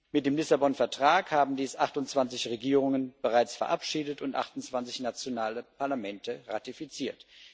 Mit dem Lissabon Vertrag haben dies 28 Regierungen bereits verabschiedet und 28 nationale Parlamente ratifiziert.